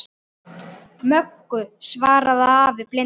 Möggu, svaraði afi blindi.